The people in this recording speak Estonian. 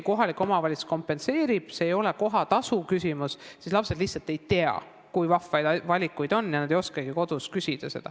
Kohalik omavalitsus kompenseerib, seal ei ole kohatasuküsimust, aga lapsed lihtsalt ei tea, kui vahvaid valikuid on, ja nad ei oskagi kodus neid küsida.